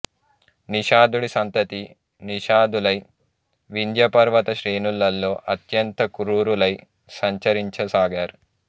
నిషాధుడి సంతతి నిషాధులై వింధ్యపర్వత శ్రేణులలో అత్యంత క్రూరులై సంచరించ సాగారు